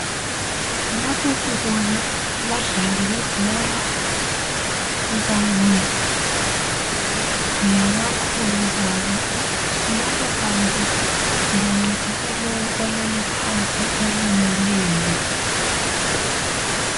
Lapho sibona abadlali bebhora kanye labakhulu babo .Laba bantu bancedisa lowo olele phansi olimeleyo .